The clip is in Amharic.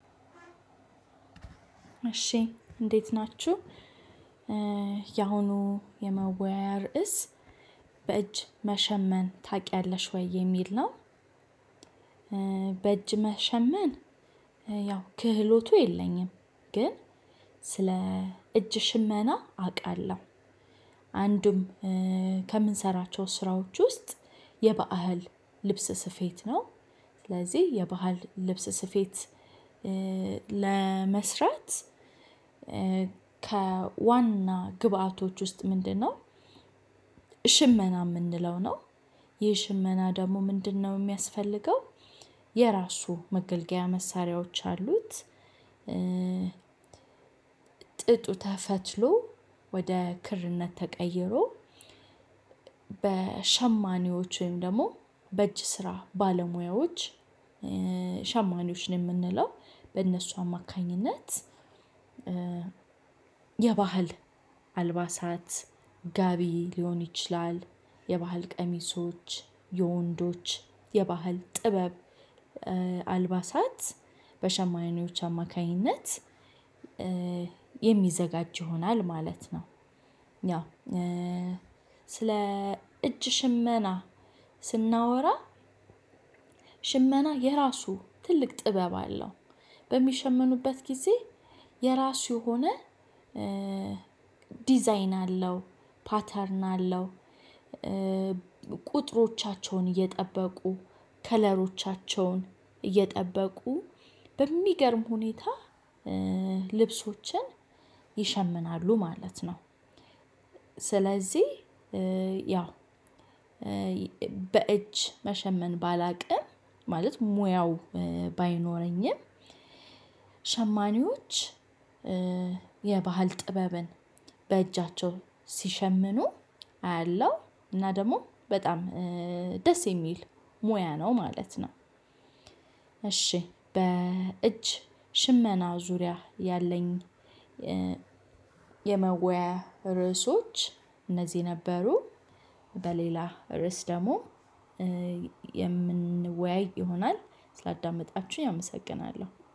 እሺ እንዴት ናችሁ ያሁኑ የመወያየ ርዕስ በእጅ መሸመን ታውቂያለሽ ወይ የሚል ነው? በእጅ መሸመን ያው ክህሎቱ የለኝም ግን ስለ እጅ ሽመና አውቃለሁ። አንዱም ከምንሰራቸው ስራዎች ውስጥ የበአል ልብስ ስፌት ነው። ስለዚህ የባህል ልብስ ስፌት ለመስራት ከዋና ግብአቶች ውስጥ ምንድነው? ሽመና የምንለው ነው? የሽመና ደግሞ ምንድነው የሚያስፈልገው? የራሱ መገልገያ መሳሪያዎች አሉት። ጥጡ ተፈትሎ ወደ ክርነት ተቀይሮ በሸማኔዎች ወይም ደግሞ በእጅ ስራ ባለሙያዎች ሸማኔዎች ነው የምንለው በእነሱ አማካኝነት። የባህል አልባሳት ጋቢ ሊሆን ይችላል የባህል ቀሚሶች የወንዶች የባህል ጥበብ አልባሳት በሸማኔዎች አማካኝነት የሚዘጋጅ ይሆናል ማለት ነው። ያው ስለ እጅ ሽመና ስናወራ ሽመና የራሱ ትልቅ ጥበብ አለው። በሚሸመኑበት ጊዜ የራሱ የሆነ ዲዛይን አለው ፓተርን አለው። ቁጥሮቻቸውን እየጠበቁ ከለሮቻቸውን እየጠበቁ በሚገርም ሁኔታ ልብሶችን ይሸምናሉ ማለት ነው። ስለዚህ ያው በእጅ መሸመን ባላውቅም ማለት ሙያው ባይኖረኝም። ሸማኔዎች የባህል ጥበብን በእጃቸው ሲሸምኑ አያለው እና ደግሞ በጣም ደስ የሚል ሙያ ነው ማለት ነው። እሺ በእጅ ሽመና ዙሪያ ያለኝ የመወያያ ርዕሶች እነዚህ ነበሩ በሌላ ርዕስ ደግሞ የምንወያይ ይሆናል ስላዳመጣችሁኝ አመሰግናለሁ